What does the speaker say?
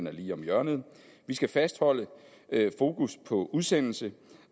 er lige om hjørnet vi skal fastholde fokus på udsendelse